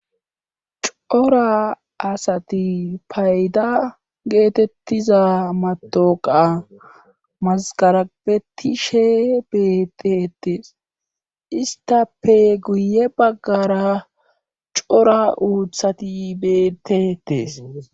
cora asati payda geetettiza matoqa mazgarabetishe betetees istape guye baggara cora uuthati beetetees